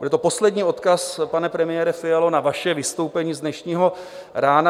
Byl to poslední odkaz, pane premiére Fialo, na vaše vystoupení z dnešního rána.